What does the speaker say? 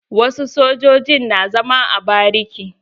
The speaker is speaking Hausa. Wasu sojojin na zama a bariki.